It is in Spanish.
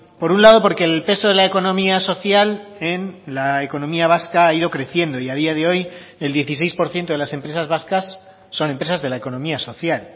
por un lado porque el peso de la economía social en la economía vasca ha ido creciendo y a día de hoy el dieciséis por ciento de las empresas vascas son empresas de la economía social